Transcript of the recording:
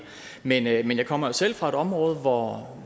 men jeg kommer selv fra et område hvor